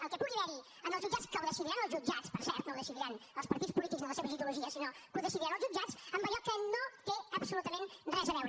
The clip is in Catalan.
el que pugui haverhi en els jutjats que ho decidiran els jutjats per cert no ho decidiran els partits polítics ni les seves ideologies sinó que ho decidiran els jutjats amb allò que no té absolutament res a veure